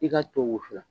I k'a to wusula